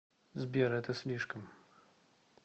сбер это слишком